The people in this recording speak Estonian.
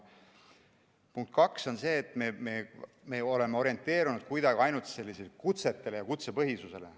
Punkt kaks on see, et me oleme orienteeritud kuidagi ainult kutsetele ja kutsepõhisusele.